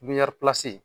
Pipiniyɛri pisi